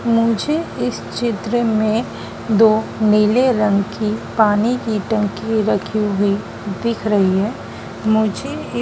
मुझे इस चित्र में दो नीले रंग की पानी की टंकी रखी हुई दिख रही है मुझे ये--